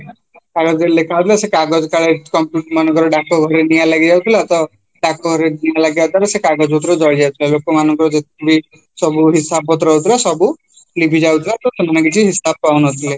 କାଗଜରେ ଲେଖା ହଉଥିଲା ସେ କାଗଜ କାଳେ ମନେକର ଡାକଘରେ ନିଆଁ ଲାଗିଯାଇଥିଲା ତ ନିଆଁ ଲାଗିଯାଉଥିଲା ସେକାଗଜ ଉପରେ ଜଳିଯାଉଥିଲା ଲୋକମାନଙ୍କର ଯେତିକିବି ସବୁ ହିସାବ ପତ୍ର ରହୁଥିଲା ସବୁ ଲିଭିଯାଉଥିଲା ସେମାନେ କିଛି ହିସାବ ପାଉନଥିଲେ